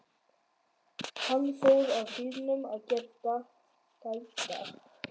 Hún fór að bílnum að gæta að litlu systur.